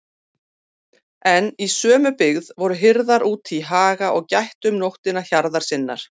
En í sömu byggð voru hirðar úti í haga og gættu um nóttina hjarðar sinnar.